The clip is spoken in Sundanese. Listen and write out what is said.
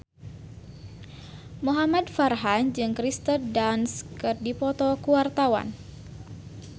Muhamad Farhan jeung Kirsten Dunst keur dipoto ku wartawan